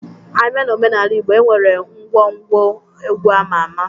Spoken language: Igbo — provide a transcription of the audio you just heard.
A bịa na omenala Ịgbo, e nwere ngwọ ngwo egwu ama ama.